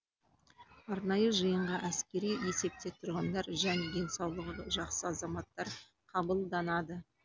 арнайы жиынға әскери есепте тұрғандар және денсаулығы жақсы азаматтар қабылданады